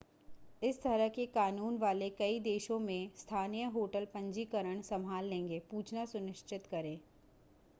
इस तरह के कानून वाले कई देशों में स्थानीय होटल पंजीकरण संभाल लेंगे पूछना सुनिश्चित करें